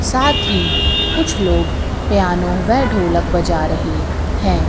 साथ ही कुछ लोग पियानो वे ढोलक बजा रहे हैं।